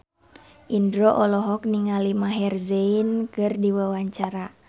Indro olohok ningali Maher Zein keur diwawancara